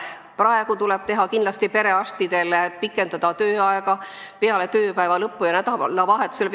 Praegu tuleb kindlasti pikendada perearstide tööaega, nad peaksid vastu võtma ka peale tööpäeva lõppu ja nädalavahetusel.